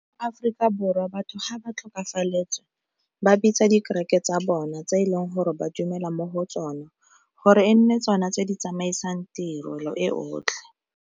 Aforika Borwa batho ga ba tlhokafaletswe ba bitsa dikereke tsa bona tse e leng gore ba dumela mo go tsona gore e nne tsona tse di tsamaisang tirelo e otlhe.